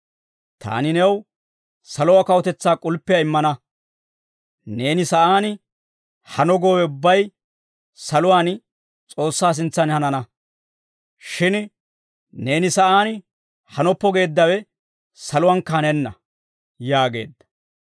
Taani new saluwaa kawutetsaa k'ulppiyaa immana; neeni sa'aan hano goowe ubbay saluwaan S'oossaa sintsan hanana; shin neeni sa'aan hanoppo geeddawe saluwankka hanenna» yaageedda.